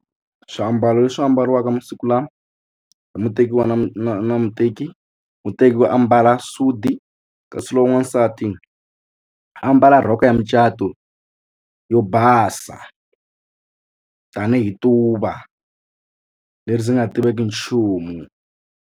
Swiambalo leswi ambariwa eka masiku lawa hi muteki wa na na na muteki muteki ku ambala sudi kasi lowu n'wansati a ambala rhoko ya mucato yo basa tanihi tuva leri ndzi nga tiveki nchumu.